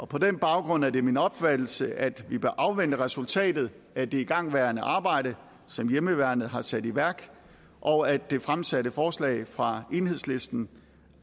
på den baggrund er det min opfattelse at vi bør afvente resultatet af det igangværende arbejde som hjemmeværnet har sat i værk og at det fremsatte forslag fra enhedslisten